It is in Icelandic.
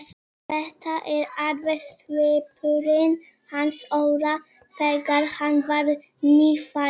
Þetta er alveg svipurinn hans Óla þegar hann var nýfæddur.